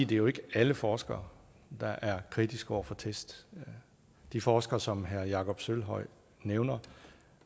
det jo ikke er alle forskere der er kritiske over for test de forskere som herre jakob sølvhøj nævner